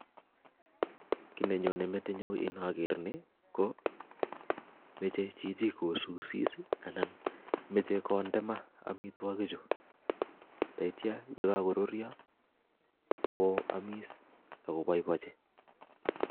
Kii nenyone metinyu ingaker nii ko meche chichi kosusis anan meche konde maa amitwokik chu ndaitya ye kakoruryo ko amis ak kobaibaichi